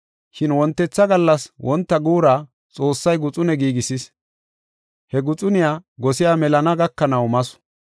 Shin wontetha gallas wonta guura Xoossay guxune giigisis. He guxuniya gosey melana gakanaw masu.